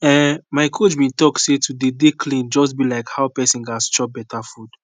ehn my coach bin talk say to dey dey clean just bi like how pesin gas chop beta food